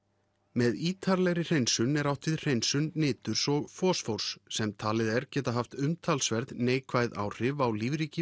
með ítarlegri hreinsun er átt við hreinsun niturs og fosfórs sem talið er geta haft umtalsverð neikvæð áhrif á lífríki